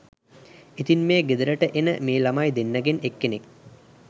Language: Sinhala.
ඉතින් මේ ගෙදරට එන මේ ළමයි දෙන්නගෙන් එක්කෙනෙක්